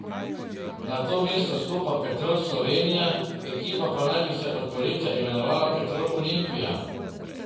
Na to mesto stopa Petrol Slovenija, ekipa pa naj bi se od poletja imenovala Petrol Olimpija.